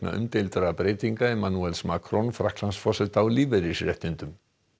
umdeildum breytingum Emmanuels Macron Frakklandsforseta á lífeyrisréttindum